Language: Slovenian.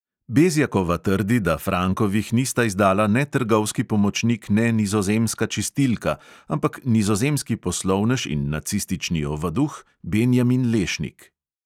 Bezjakova trdi, da frankovih nista izdala ne trgovski pomočnik ne nizozemska čistilka, ampak nizozemski poslovnež in nacistični ovaduh benjamin lešnik.